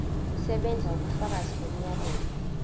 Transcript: kusebenza ubufakazi bomyalelo